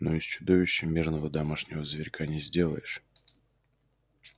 но из чудовища мирного домашнего зверька не сделаешь